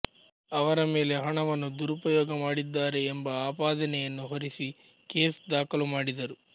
ಆವರ ಮೇಲೆ ಹಣವನ್ನು ದುರುಪಯೋಗಮಾಡಿದ್ದಾರೆ ಎಂಬ ಅಪಾದನೆಯನ್ನು ಹೊರಿಸಿ ಕೇಸ್ ದಾಖಲುಮಾಡಿದರು